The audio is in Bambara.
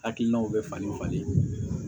Hakilinaw bɛ falen falen